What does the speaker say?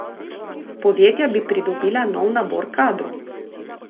Podjetja bi pridobila nov nabor kadrov.